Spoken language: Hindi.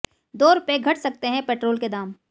दो रुपये घट सकते हैं पेट्रोल के दाम